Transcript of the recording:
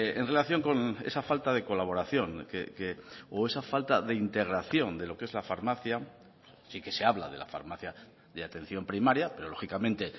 en relación con esa falta de colaboración o esa falta de integración de lo que es la farmacia sí que se habla de la farmacia de atención primaria pero lógicamente